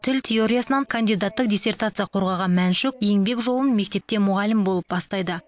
тіл теориясынан кандидаттық диссертация қорғаған мәншүк еңбек жолын мектепте мұғалім болып бастайды